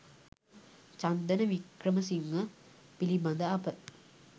චන්දන වික්‍රමසිංහ පිළිබඳ අප